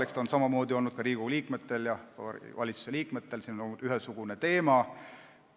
Eks samamoodi ole olnud ka Riigikogu liikmete ja valitsusliikmete palgaga, see on olnud ühesugune teema.